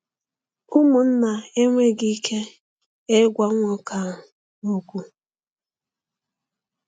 Ụmụnna enweghị ike ịgwa nwoke ahụ okwu.